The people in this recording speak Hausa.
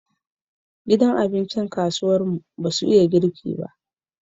Gidan abincin kasuwar mu basu iya girki ba